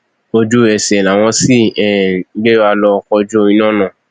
ojú ẹsẹ làwọn sì um gbéra lọ kojú iná náà